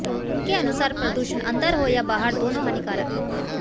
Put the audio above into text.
उनके अनुसार प्रदूषण अंदर हो या बाहर दोनों हानिकारक है